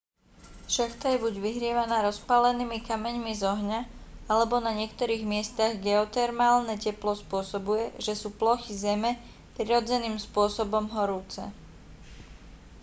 šachta je buď vyhrievaná rozpálenými kameňmi z ohňa alebo na niektorých miestach geotermálne teplo spôsobuje že sú plochy zeme prirodzeným spôsobom horúce